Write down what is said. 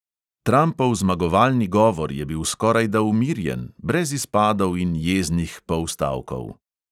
Trampov zmagovalni govor je bil skorajda umirjen, brez izpadov in jeznih polstavkov.